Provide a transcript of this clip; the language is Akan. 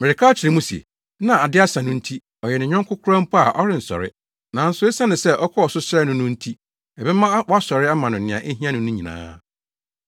Mereka akyerɛ mo se, na ade asa no nti, ɔyɛ ne yɔnko koraa mpo a ɔrensɔre. Nanso esiane sɛ ɔkɔɔ so srɛɛ no no nti ɛbɛma wasɔre ama no nea ehia no no nyinaa.